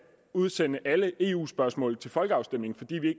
udsende alle eu spørgsmål til folkeafstemning fordi